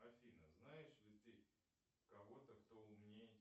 афина знаешь ли ты кого то кто умнее